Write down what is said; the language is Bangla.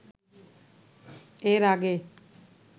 এর আগে